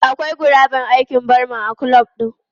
Akwai guraben aikin barman a kulob din.